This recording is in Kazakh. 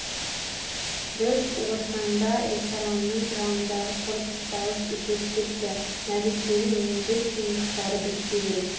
біз орсаңда ресторанының жанындағы корпус дауыс үзіліп кетті мәликенің он бес тиындықтары бітсе керек